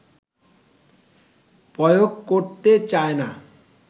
প্রয়োগ করতে চায়না